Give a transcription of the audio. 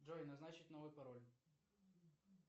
джой назначить новый пароль